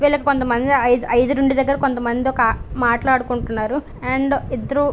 వీళ్ళకి కొంతమంది ఐదు రెండు దగ్గర కొంత మంది మాట్లాడుకుంటున్నారు అండ్ ఇద్దరు --